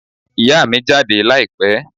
Ìyá mi jáde láìpẹ́